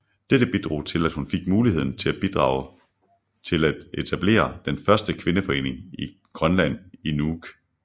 Dette bidrog til at hun fik muligheden til at bidrage til at etablere den første kvindeforening i grønland i Nuuk